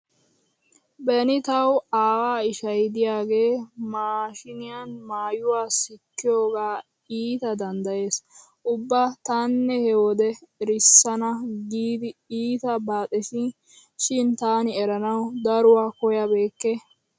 Beni tawu aawaa ishay diyagee maashiiniuan maayuwa sikkiyogaa iita danddayees. Ubba tana he wode erissana giidi iita baaxetiisi shin taani eranawu daruwa koyyabeekke.